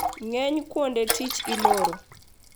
Ng`eny kuonde tich iloro.